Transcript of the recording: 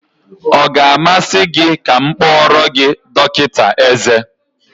Ọ ga-amasị gị ka m kpọọrọ gị dọkịta eze?